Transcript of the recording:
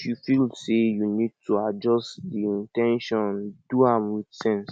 if you feel sey you need to adjust di in ten tion do am with sense